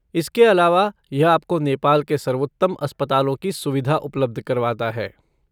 इसके अलावा, यह आपको नेपाल के सर्वोत्तम अस्पतालों की सुविधा उपलब्ध करवाता है।